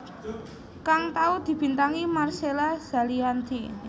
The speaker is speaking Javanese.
kang tau dibintangi Marcella Zalianty